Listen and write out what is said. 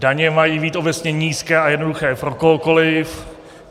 Daně mají být obecně nízké a jednoduché pro kohokoliv.